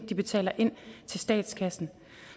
de betaler ind til statskassen